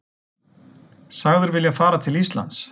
Sagður vilja fara til Íslands